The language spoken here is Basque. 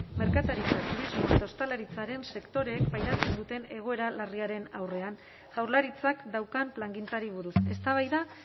merkataritza turismo eta ostalaritzaren sektoreek pairatzen duten egoera larriaren aurrean jaurlaritzak daukan plangintzari buruz eztabaida